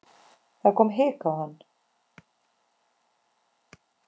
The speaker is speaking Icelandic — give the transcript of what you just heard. Það kom hik á hann.